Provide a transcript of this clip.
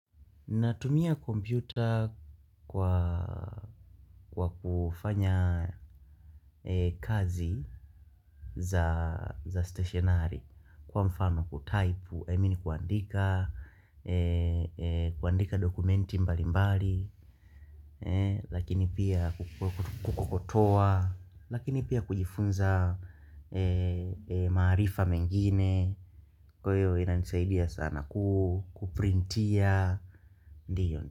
Natumia kompyuta kwa kufanya kazi za stationari Kwa mfano kutaipu, I mean kuandika, kuandika dokumenti mbali mbali Lakini pia kukokotoa, lakini pia kujifunza maarifa mengine Kwa hiyo inanisaidia sana kuprintia, ndiyo ni.